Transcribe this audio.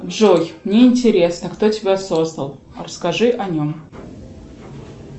джой мне интересно кто тебя создал расскажи о нем